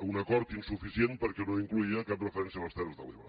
un acord insuficient perquè no incloïa cap referència a les terres de l’ebre